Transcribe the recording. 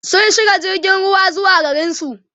sun shiga jirgin ruwa zuwa garinsu